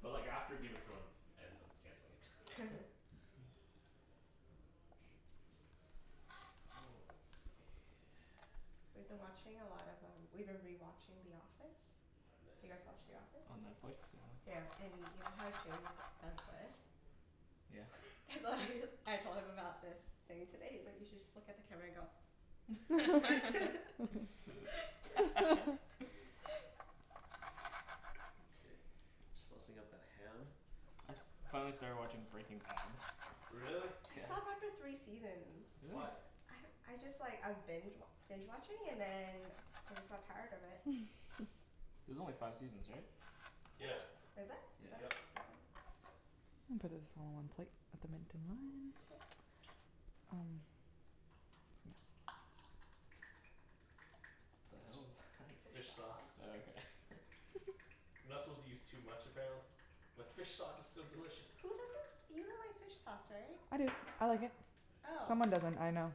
But like after Game of Thrones ends, I'm canceling it. Oh, let's see We've been watching a lot of um, we've been rewatching The Office. Do you guys Nice. watch The Office? On Netflix? Yeah. Yeah, and you know how Jimmy g- does this? Yeah? So I just, I told him about this thing today, he's like, "You should just look at the camera and go" Okay. Saucing up the ham I finally started watching Breaking Bad Really? I Yeah. stopped after three seasons. Why? Really? I don't, I just like, I was binge wa- binge watching, and then I just got tired of it. There's only five seasons, right? Oops! Yeah. Is it? I thought it was Yep. seven. I'll put this all in one plate, with the mint and lime. Um. The It's hell is that f- fish sauce. Oh, okay. You're not supposed to use too much, apparently. But fish sauce is so delicious. Who doesn't, you don't like fish sauce, right? I do, I like it. Oh. Someone doesn't, I know.